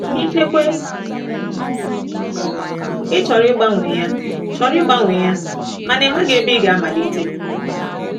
Ikekwe ị chọrọ ịgbanwe ya chọrọ ịgbanwe ya mana ị maghị ebe ị ga-amalite.